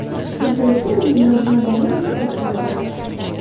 Sizda esa endi yozma dalil-isbot bo‘ladi.